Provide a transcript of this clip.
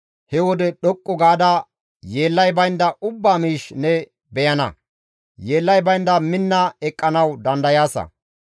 he wode dhoqqu gaada yeellay baynda ubbaa miish ne beyana; yeellay baynda minna eqqanawu dandayaasa.